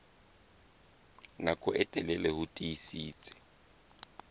nako e telele ho tiisitse